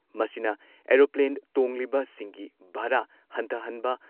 ꯃꯁꯤꯅ ꯑꯦꯔꯣꯄ꯭ꯂꯦꯟ ꯇꯣꯡꯂꯤꯕꯁꯤꯡꯒꯤ ꯚꯔꯥ ꯍꯟꯊꯍꯟꯕ,